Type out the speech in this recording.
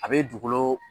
A bɛ dugukolo